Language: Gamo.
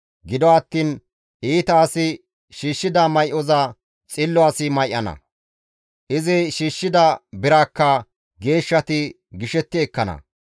Gido attiin iita asi shiishshida may7oza xillo asi may7ana; izi shiishshida biraakka geeshshati gishetti ekkana.